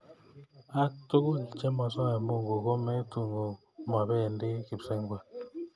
Ak tugul che mosoe mungu ko metun mobendii kipsengwet.